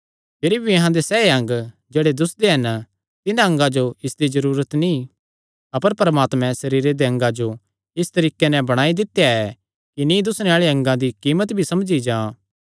भिरी भी अहां दे सैह़ अंग जेह्ड़े दुस्सदे हन तिन्हां अंगा जो इसदी जरूरत नीं अपर परमात्मैं सरीरे दे अंगा जो इस तरीके नैं बणाई दित्या ऐ कि नीं दुस्सणे आल़े अंगा दी कीमत भी समझी जां